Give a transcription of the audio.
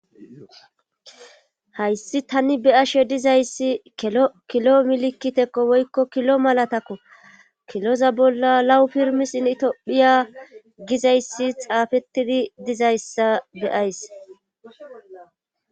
Hayssi tani be'ashe dizayssi kilo milikitekko woykko kilo malatakko kiloza bolla lawu pirmisin in itophiya gizayssi xaafettidi dizayssa be'ays